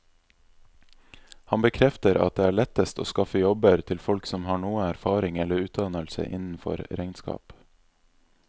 Han bekrefter at det er lettest å skaffe jobber til folk som har noe erfaring eller utdannelse innenfor regnskap.